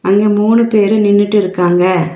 அங்க மூணு பேரு நின்னுட்டு இருகாங்க.